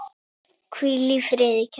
Hvíl í friði, kæra.